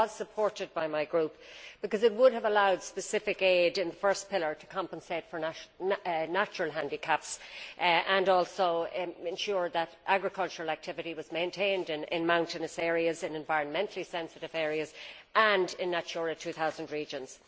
It was supported by my group because it would have allowed specific aid under the first pillar to compensate for natural handicaps and also to ensure that agricultural activity was maintained in mountainous areas, in environmentally sensitive areas and in Natura 2000 regions.